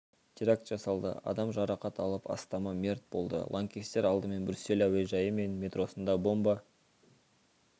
теракт жасалды адам жарақат алып астамы мерт болды лаңкестер алдымен брюссель әуежайы мен метросында бомба